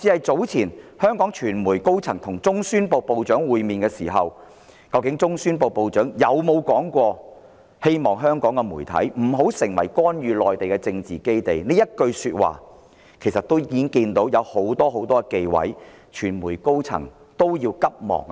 早前香港傳媒代表團跟中宣部部長會面後，有傳媒高層原先透露中宣部部長說過"希望香港媒體不要成為干預內地的政治基地"這句話，但其後又急忙澄清，這其實反映當中存在很多忌諱。